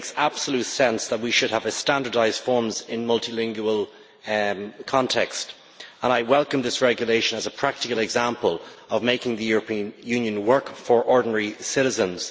It makes absolute sense that we should have standardised forms in a multilingual context, and I welcome this regulation as a practical example of making the European Union work for ordinary citizens.